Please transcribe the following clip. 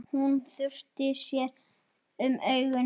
Hún þurrkar sér um augun.